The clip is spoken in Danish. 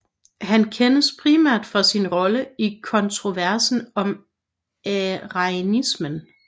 Han kendes primært for sin rolle i kontroversen om arianismen